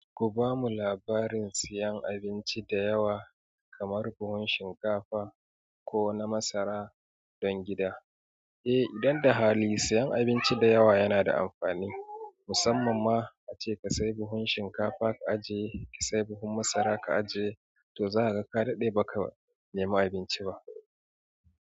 Ku bamu labarin seyan abinci da yawa kamar buhun shinkafa ko na masara don gida. Eh, idan da hali seyan abinci da yawa yana da amfani. Musamman ma ace ka sayi buhun shinkafa ka ajiye, ka sayi buhun masara ka ajiye, to za ka ga ka daɗe ba ka nema abinci ba.